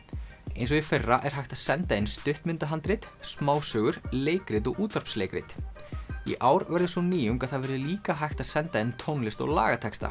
eins og í fyrra er hægt að senda inn smásögur leikrit og útvarpsleikrit í ár verður sú nýjung að það verður líka hægt að senda inn tónlist og lagatexta